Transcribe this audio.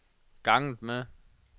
ganget med